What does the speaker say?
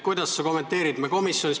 Kuidas sa seda kommenteerid?